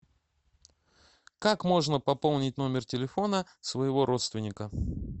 как можно пополнить номер телефона своего родственника